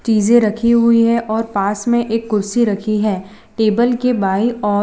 चीजे रखी हुई हैं और पास में एक कुर्सी रखी है टेबल के बाईं ओर--